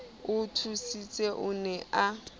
o thusitseng o ne a